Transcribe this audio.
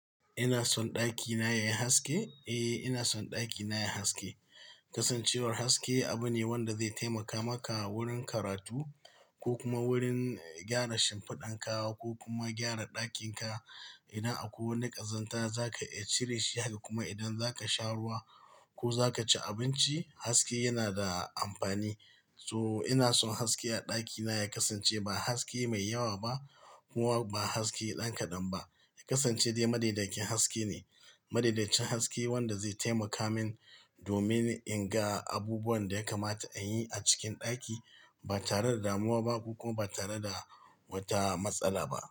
Ina son ɗakina yayi haske? Eh ina son dakina yai haske. Kasancewar haske abu ne wanda zai taimaka maka wurin karatu ko kuma wurin gyara shimfiɗanka ko kuma gyara ɗakinka. Idan akwai wani ƙazanta zaka iya cire shi har kuma idan zaka sha ruwa ko zaka ci abinci haske yana da amfani. So ina son haske a ɗakina ya kasance ba haske mai yawa ba kuma ba haske ɗan kaɗan ba. Ya kasance dai madaidakin haske ne. Madaidaicin haske wanda zai taimaka min domin in ga abubuwan da ya kamata in yi a cikin ɗaki ba tare da damuwa ba ko kuma ba tare da wata matsala ba.